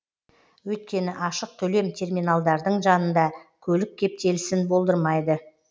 өйткені ашық төлем терминалдардың жанында көлік кептелісін болдырмайды